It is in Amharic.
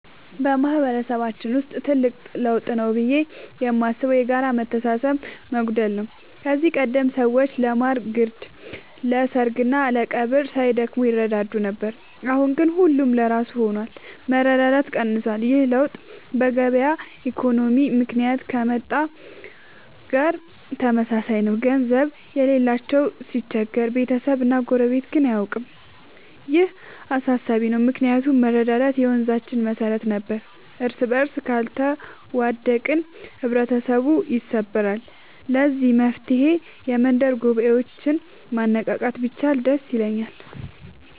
በማህበረሰባችን ውስጥ ትልቅ ለውጥ ብዬ የማስበው የጋራ መተሳሰብ መጓደል ነው። ከዚህ ቀደም ሰዎች ለማር ግርድ፣ ለሰርግና ለቀብር ሳይደክሙ ይረዳዱ ነበር። አሁን ግን ሁሉም ለራሱ ሆኗል፤ መረዳዳት ቀንሷል። ይህ ለውጥ በገበያ ኢኮኖሚ ምክንያት ከመጣ ጋር ተመሳሳይ ነው፤ ገንዘብ የሌለው ሲቸገር ቤተሰብና ጎረቤት ግን አያውቀውም። ይህ አሳሳቢ ነው ምክንያቱም መረዳዳት የመንዛችን መሰረት ነበር። እርስበርስ ካልተዋደቅን ህብረተሰቡ ይሰበራል። ለዚህ መፍትሔ የመንደር ጉባኤዎችን ማነቃቃት ቢቻል ደስ ይለኛል።